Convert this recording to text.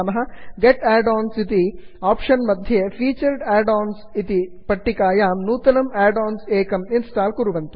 गेत् add ons get add ons इति option मध्ये featured add ons featured add ons इति पट्टिकायां नूतनम् आड् आन् एकम् इन्स्टाल् कुर्वन्तु